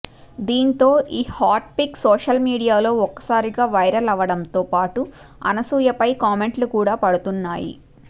దీంతో ఈ hot pic social మీడియాలో ఒక్కసారిగా వైరల్ అవడంతో పాటు అనసూయ పై కామెంట్లు కూడా పడుతున్నాయి